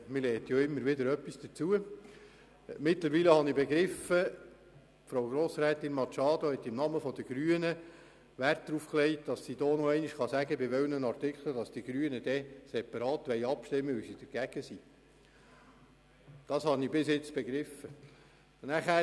Ich habe inzwischen verstanden, dass Grossrätin Machado Rebmann im Namen der Grünen klarstellt, über welche Artikel abgestimmt werden muss, weil sie dagegen sind.